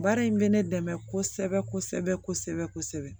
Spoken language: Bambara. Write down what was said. Baara in bɛ ne dɛmɛ kosɛbɛ kosɛbɛ